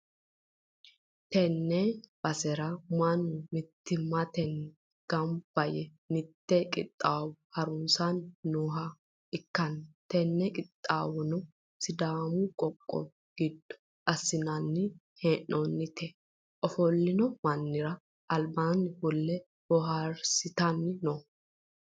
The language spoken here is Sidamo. tenne basera mannu mittimmatenni gamba yee mitte qixxawo harisanni nooha ikkanna, tini qixxaawono sidaamu qoqqowi giddo assi'nanni hee'noonnite, ofollino manni'ra albaanni fulte booharsitanni no.